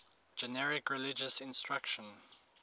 generic religious instruction